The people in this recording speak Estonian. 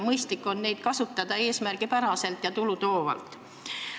Mõistlik on neid kasutada eesmärgipäraselt ja tulutoovalt.